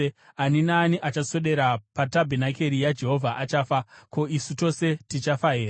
Ani naani achaswedera patabhenakeri yaJehovha achafa. Ko, isu tose tichafa here?”